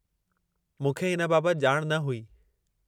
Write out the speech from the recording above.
मूंखे हिन बाबत ॼाण न हुई।